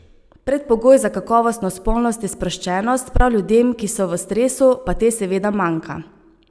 Predpogoj za kakovostno spolnost je sproščenost, prav ljudem, ki so v stresu, pa te seveda manjka.